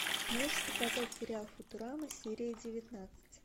можешь показать сериал футурама серия девятнадцать